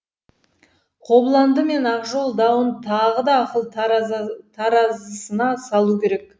қобыланды мен ақжол дауын тағы да ақыл таразысына салу керек